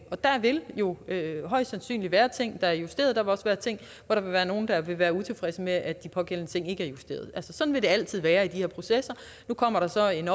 der vil jo højst sandsynligt være ting der er justeret og der vil også være ting hvor der vil være nogle der vil være utilfredse med at de pågældende ting ikke er justeret sådan vil det altid være i de her processer nu kommer der så en